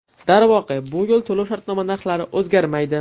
Darvoqe, bu yil to‘lov-shartnoma narxlari o‘zgarmaydi .